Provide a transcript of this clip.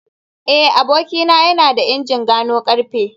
eh abokina yana da injin gano karfe